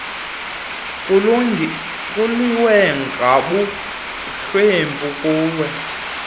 kuliwe nobuhlwempu kuliwe